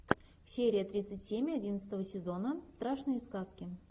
серия тридцать семь одиннадцатого сезона страшные сказки